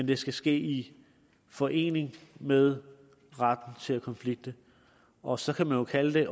det skal ske i forening med retten til at konflikte og så kan man jo kalde det